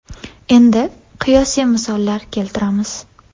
Endi qiyosiy misollar keltiramiz.